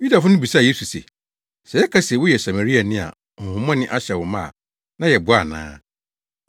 Yudafo no bisaa Yesu se, “Sɛ yɛka se woyɛ Samariani a honhommɔne ahyɛ wo ma a na yɛboa ana?”